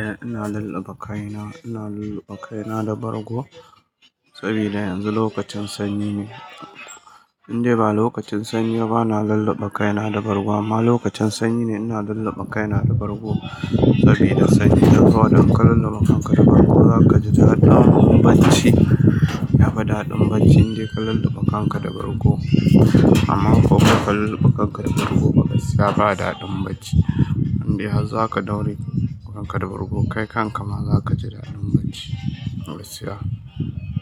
Eh ina lulluɓe kaina, ina lulluɓe kaina da bargo saboda yanzu lokacin sanyi ne. Indai ba lokacin sanyi ba na lulleɓe kaina da bargo amma lokacin sanyi ne ina lallaɓa kaina da bargo sabida sanyi. Saboda haka ka lulluɓe kanka da bargo za ka ji daɗin bacci, ya fi daɗin bacci indai ka lullube kanka da bargo. Amma ko baka lullube kanka da bargo ba gaskiya ba daɗin bacci indai har za ka daure kanka da bargo kai kanka ma za ka ji daɗin bacci ba gaskiya.